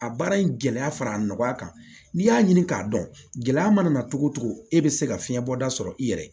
A baara in gɛlɛya fara nɔgɔya kan n'i y'a ɲini k'a dɔn gɛlɛya mana cogo o cogo e bɛ se ka fiɲɛ bɔda sɔrɔ i yɛrɛ ye